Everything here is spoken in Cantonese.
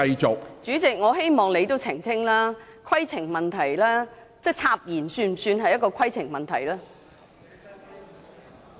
主席，我希望你澄清，插言是否屬於規程問題？